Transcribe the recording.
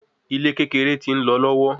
Ile kekere ti nlọ lọwọ